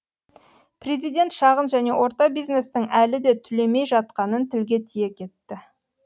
президент шағын және орта бизнестің әлі де түлемей жатқанын тілге тиек етті